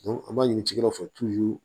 an b'a ɲini cikɛdaw fɛ